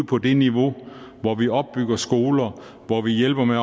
på det niveau hvor vi opbygger skoler hvor vi hjælper med at